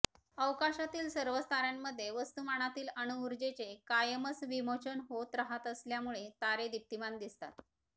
अवकाशातील सर्वच तार्यांमध्ये वस्तूमानातील अणूऊर्जेचे कायमच विमोचन होत राहत असल्यामुळे तारे दीप्तीमान दिसतात